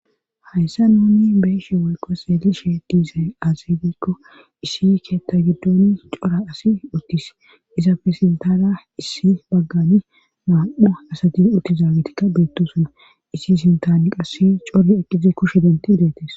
Hayssa nunni beishe woyqo seelishe diizay azebikko issi keetta giddon cora asi uttis izafesintara issi baggani maam7a asatin uttizaawitikka beettosuna issi sintani qassi core eqqize kushe denti idetes.